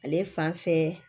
Ale fan fɛ